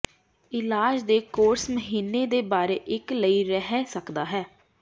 ਇਲਾਜ ਦੇ ਕੋਰਸ ਮਹੀਨੇ ਦੇ ਬਾਰੇ ਇੱਕ ਲਈ ਰਹਿ ਸਕਦਾ ਹੈ